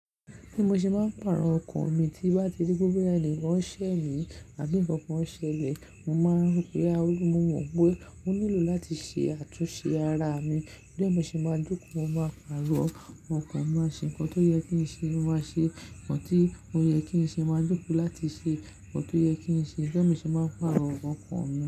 Bí mo ṣe máa ń pàrọ̀ ọkàn mi tí n bá ti ri pé boya ẹ̀níkan ń ṣẹ́ mi àbí ǹkan kan ṣẹlẹ̀, mo máa rí pé a wù mí mọ̀ pé mo nílò láti ṣe àtúnṣe ara mi. Tori be mó ṣe máa jóko, mo máa pàrọ̀ ọkàn, mo máa ṣe ǹkan tó yẹ kí n ṣe, mo máa ṣe ǹkan tí ó yẹ kí n ṣe, máa jóko láti ṣe ǹkan tó yẹ kí n ṣe. Torí be mó ṣe máa n pàrọ̀ ọkàn mi.